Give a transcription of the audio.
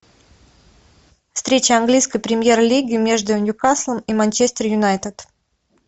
встреча английской премьер лиги между ньюкаслом и манчестер юнайтед